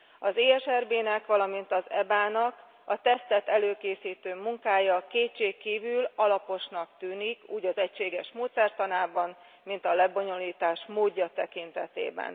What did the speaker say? Az ESRB nek, valamint az EBA nak a tesztet előkészítő munkája kétségkívül alaposnak tűnik, úgy az egységes módszertanában, mint a lebonyolítás módja tekintetében.